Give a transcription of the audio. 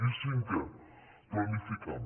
i cinquè planificant